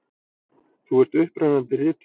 Þú ert upprennandi rithöfundur.